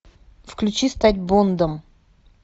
включи стать бондом